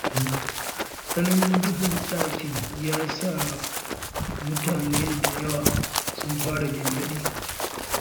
Tsananin duhun ɗakin, ya sa da yawan mutane sun fara gyangyaɗi.